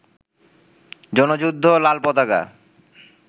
জনযুদ্ধ, লালপতাকা